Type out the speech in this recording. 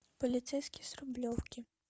полицейский с рублевки